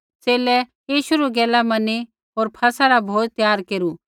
च़ेले यीशु री गैल मैनी होर फसह रा भोज त्यार केरू